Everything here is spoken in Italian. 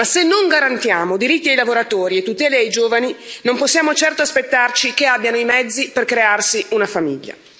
Ma se non garantiamo diritti ai lavoratori e tutele ai giovani, non possiamo certo aspettarci che abbiano i mezzi per crearsi una famiglia.